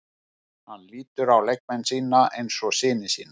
Hann lítur á leikmenn sína eins og syni sína.